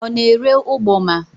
Ọ na-ere ụgbọma?